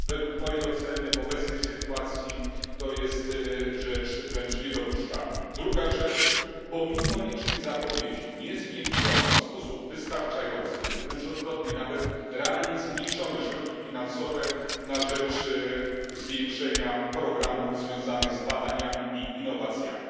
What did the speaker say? Według mojej oceny, w obecnej sytuacji, jest to rzecz wręcz niedopuszczalna. Druga rzecz pomimo licznych zapowiedzi nie zwiększono w sposób wystarczający, wręcz odwrotnie nawet, realnie zmniejszono środki finansowe na rzecz nasilenia programów związanych z badaniami i innowacjami.